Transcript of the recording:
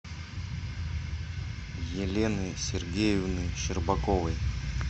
елены сергеевны щербаковой